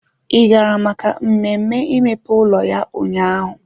Ị gara maka mmemme imepe ụlọ ya ụnyaahụ?